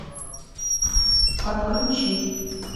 отключи